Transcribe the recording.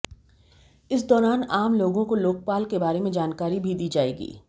इस दौरान आम लोगों को लोकपाल के बारे में जानकारी भी दी जाएगी